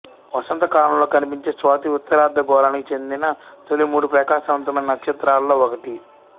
వసంతకాలంలో కనిపించే స్వాతి ఉత్తరార్ధగోళానికి చెందిన తొలి మూడు ప్రకాశవంతమైన నక్షత్రాలలో ఒకటి